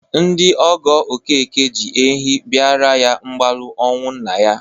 Ndị ọgọ Okeke ji ehi bịara ya mgbalu ọnwụ nna ya.